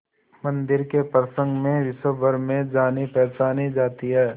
मंदिर के प्रसंग में विश्वभर में जानीपहचानी जाती है